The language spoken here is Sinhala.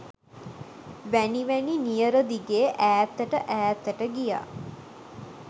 වැනි වැනි නියර දිගේ ඈතට ඈතට ගියා.